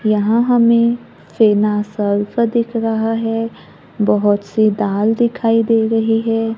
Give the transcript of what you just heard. यहां हमे दिख रहा है बहोत सी दाल दिखाई दे रही है।